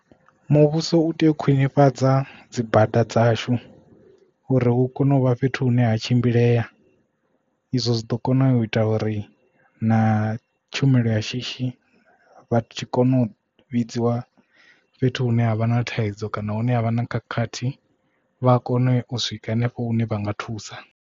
Muvhuso u tea u khwinifhadza dzi bada dzashu uri hu kone u vha fhethu hune ha tshimbilea izwo zwi ḓo kona u ita uri na tshumelo ya shishi vha tshi kona u vhidziwa fhethu hune ha vha na thaidzo kana hune havha na khakhathi vha a kone u swika hanefho hune vha nga thusa.